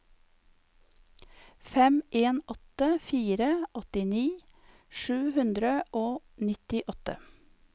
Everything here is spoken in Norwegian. fem en åtte fire åttini sju hundre og nittiåtte